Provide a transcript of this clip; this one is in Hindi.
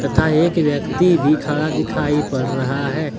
तथा एक व्यक्ति भी खड़ा दिखाई पड़ रहा है।